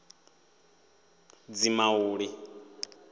dzimauli